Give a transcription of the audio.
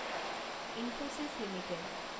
Infosys limited